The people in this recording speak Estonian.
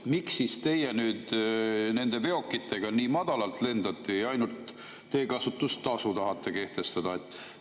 Miks teie nüüd nende veokitega nii madalalt lendate ja ainult teekasutustasu tahate kehtestada?